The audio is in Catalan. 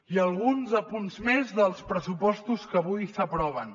i alguns apunts més dels pressupostos que avui s’aproven